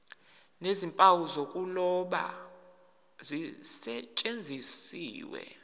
nezimpawu zokuloba zisetshenziswe